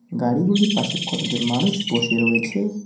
গাড়িগুলির পাশে কতজন মানুষ বসে রয়েছে।